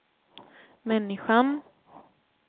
människan